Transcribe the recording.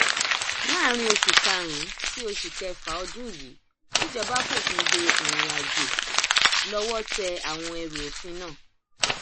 láàrin oṣù karùnún sí oṣù kẹfà ọdún yìí tíjọba fòfin de ìrìnàjò lọwọ tẹ àwọn ẹrù òfin náà